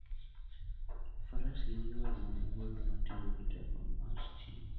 Faras gin yore mag wuoth matiyo gi teko mar stima.